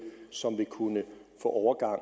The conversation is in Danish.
som vil kunne få overgangen